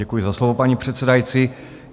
Děkuji za slovo, paní předsedající.